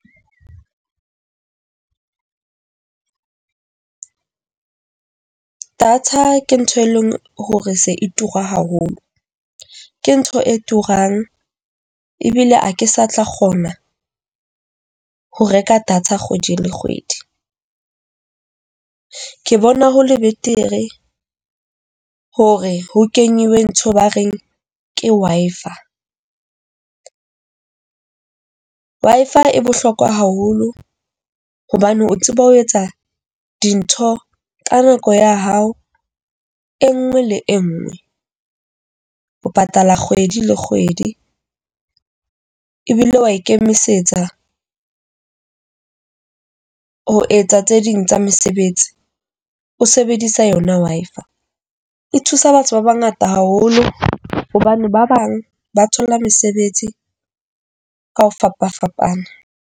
Data ke ntho e leng hore se e tura haholo. Ke ntho e turang ebile ha ke sa tla kgona ho reka data kgwedi le kgwedi, ke bona ho le betere hore ho keneilwe ntho ba reng ke Wi-Fi. Wi-Fi e bohlokwa haholo hobane o tseba ho etsa dintho ka nako ya hao e nngwe le e nngwe, ho patala kgwedi le kgwedi ebile wa ikemisetsa ho etsa tse ding tsa mesebetsi o sebedisa yona Wi-Fi. E thusa batho ba bangata haholo hobane ba bang ba thola mesebetsi ka ho fapafapana.